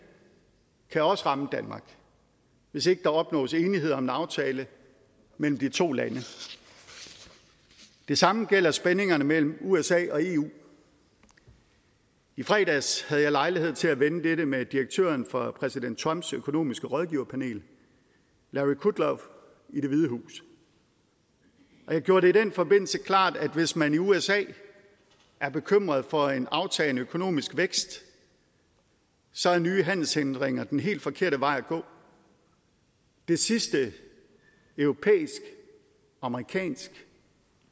kan også ramme danmark hvis ikke der opnås enighed om en aftale mellem de to lande det samme gælder spændingerne mellem usa og eu i fredags havde jeg lejlighed til at vende dette med direktøren for præsident trumps økonomiske rådgiverpanel larry kudlow i det hvide hus og jeg gjorde det i den forbindelse klart at hvis man i usa er bekymret for en aftagende økonomisk vækst så er nye handelshindringer den helt forkerte vej at gå det sidste europæisk amerikansk